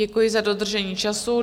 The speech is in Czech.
Děkuji za dodržení času.